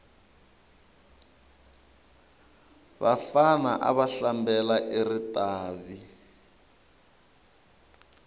vafana ava hlambela eritavi